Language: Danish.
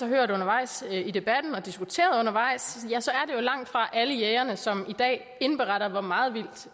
hørt undervejs i debatten og har diskuteret undervejs langtfra alle jægere som i dag indberetter hvor meget vildt